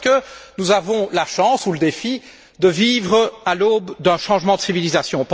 Parce que nous avons la chance, ou le défi, de vivre à l'aube d'un changement de civilisation.